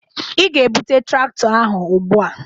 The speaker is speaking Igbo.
Ị ga-ebute traktọ ahụ ugbu a!